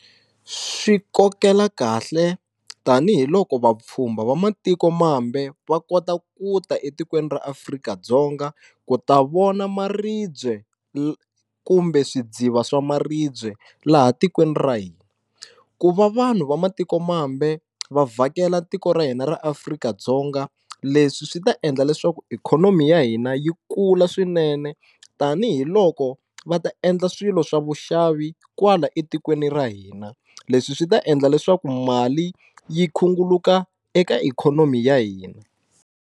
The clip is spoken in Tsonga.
Swi kokela kahle tanihiloko vapfhumba va matikomambe va kota ku ta etikweni ra Afrika-Dzonga ku ta vona maribye kumbe swidziva swa maribye laha tikweni ra hina ku va vanhu va matikomambe va vhakela tiko ra hina ra Afrika-Dzonga leswi swi ta endla leswaku ikhonomi ya hina yi kula swinene tanihiloko va ta endla swilo swa vuxavi kwala etikweni ra hina leswi swi ta endla leswaku mali yi khunguluka eka ikhonomi ya hina.